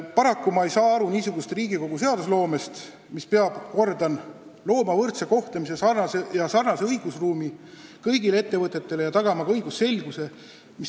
Paraku ma ei saa praegu aru Riigikogu seadusloomest, mis peab, ma kordan, tagama võrdse kohtlemise ja sarnase õigusruumi kõigile ettevõtetele ja õigusselguse.